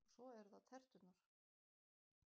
Og svo eru það terturnar.